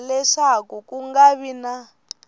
leswaku ku nga vi na